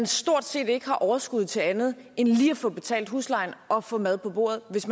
stort set ikke har overskud til andet end lige at få betalt huslejen og få mad på bordet hvis